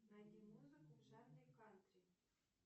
найди музыку в жанре кантри